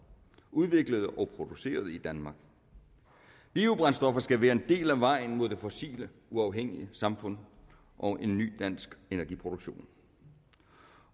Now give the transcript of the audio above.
udviklet og produceret i danmark biobrændstoffer skal være en del af vejen mod det fossilt uafhængige samfund og en ny dansk energiproduktion